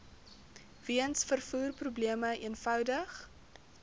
weens vervoerprobleme eenvoudig